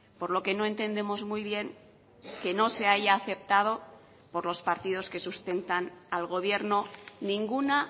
por lo que no entendemos muy bien que no se haya aceptado por los partidos que sustentan al gobierno ninguna